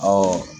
Ɔwɔ